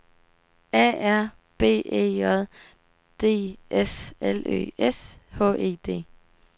A R B E J D S L Ø S H E D